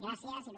gràcies il